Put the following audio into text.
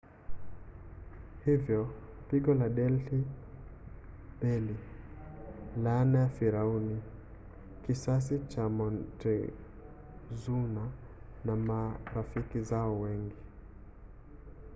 hivyo pigo la delhi belly laana ya firauni kisasi cha montezuma na marafiki zao wengi